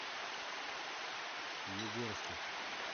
югорске